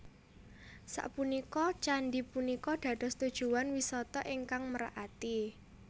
Sapunika candhi punika dados tujuwan wisata ingkang merak ati